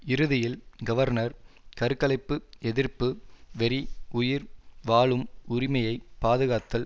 இறுதியில் கவர்னர் கருக்கலைப்புஎதிர்ப்பு வெறி உயிர் வாழும் உரிமையை பாதுகாத்தல்